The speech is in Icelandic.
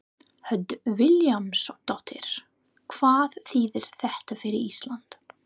Hödd Vilhjálmsdóttir: Hvað þýðir þetta fyrir Ísland?